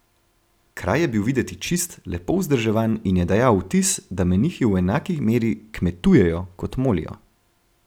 Kraj je bil videti čist, lepo vzdrževan in je dajal vtis, da menihi v enaki meri kmetujejo kot molijo.